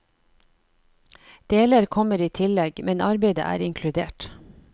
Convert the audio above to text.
Deler kommer i tillegg, men arbeidet er inkludert.